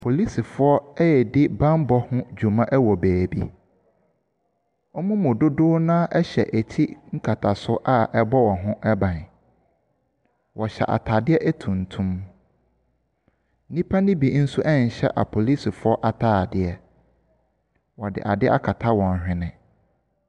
Polisifoɔ redi banmmɔ ho dwuma wɔ baabi. Wɔn mu dodow no ara hyɛ ti nkatasoɔ a ɛbɔ wɔn ti ho ban. Wɔhyɛ ataadeɛ tuntum. Nnipa no bi nhyɛ apolisifoɔ ataadeɛ. Wɔde adeɛ akata wɔn hwene.